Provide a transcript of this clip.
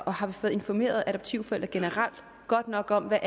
og har vi fået informeret adoptivforældre generelt godt nok om hvad